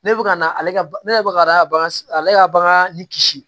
Ne bɛ ka na ale ka ne yɛrɛ bɛ ka ale ka bagan ale ka bagan ni kisi